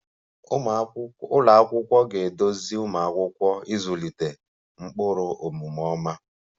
Ụlọ akwụkwọ ga-eduzi ụmụ akwụkwọ ịzụlite ụkpụrụ omume ọma